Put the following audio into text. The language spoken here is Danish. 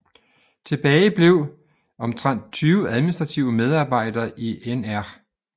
Tilbage blev omtrent 20 administrative medarbejdere i Nr